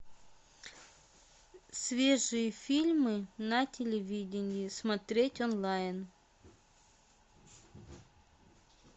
свежие фильмы на телевидении смотреть онлайн